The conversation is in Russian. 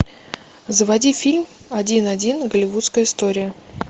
заводи фильм один один голливудская история